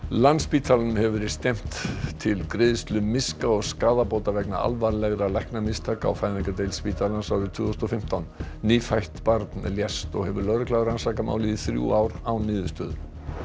Landspítalanum hefur verið stefnt til greiðslu miska og skaðabóta vegna alvarlegra læknamistaka á fæðingardeild spítalans tvö þúsund og fimmtán nýfætt barn lést og hefur lögregla rannsakað málið í þrjú ár án niðurstöðu